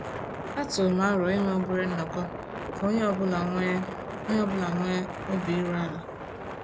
A tụrụ m arọ inwe obere nnọkọ ka onye ọ bụla nwee ọ bụla nwee obi iru ala